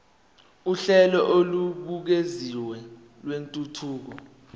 uhlelo olubukeziwe lwentuthuko